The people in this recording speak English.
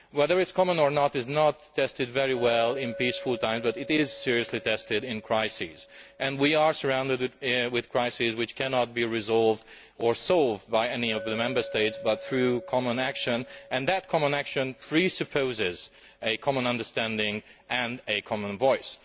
Whether it is common or not is not tested very well in peaceful times, but it is seriously tested in crises, and we are surrounded with crises which cannot be resolved or solved by any of the Member States but through common action, and that common action presupposes a common understanding and a common voice.